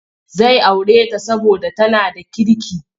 Zai aure ta saboda tana da kirki.